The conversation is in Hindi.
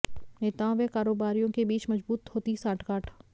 नेताओं व कारोबारियों के बीच मजबूत होती सांठगांठ